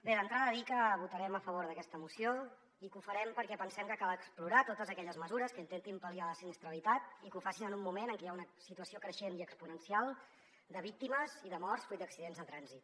bé d’entrada dir que votarem a favor d’aquesta moció i que ho farem perquè pensem que cal explorar totes aquelles mesures que intentin pal·liar la sinistralitat i que ho facin en un moment en què hi ha una situació creixent i exponencial de víctimes i de morts fruit d’accidents de trànsit